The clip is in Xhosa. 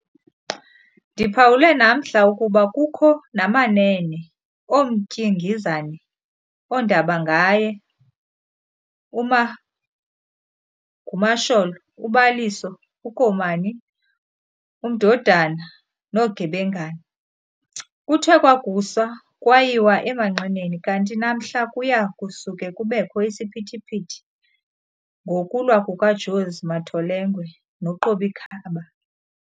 Ndiphawule namhla ukuba kukho namanene ooMtyingizane, undabanganye, uMagumasholo, uBaliso, uKomani, uMdodana, noGebengana. Kuthe kwakusa kwayiwa emanqineni kanti namhla kuya kusuke kubekho isiphithiphithi ngokulwa kuka"Josi" "Matholengwe" no"Qobikhaba".